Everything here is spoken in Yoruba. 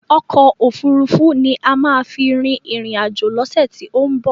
Ọkò òfurufú ni a máa fi rin ìrìn àjò lọ́sẹ̀ tí ó ń bọ̀.